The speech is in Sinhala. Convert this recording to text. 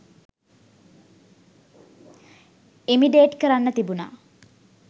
ඉමිටේඞ් කරන්න තිබුණා.